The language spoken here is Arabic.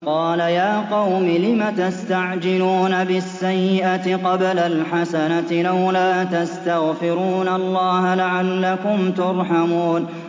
قَالَ يَا قَوْمِ لِمَ تَسْتَعْجِلُونَ بِالسَّيِّئَةِ قَبْلَ الْحَسَنَةِ ۖ لَوْلَا تَسْتَغْفِرُونَ اللَّهَ لَعَلَّكُمْ تُرْحَمُونَ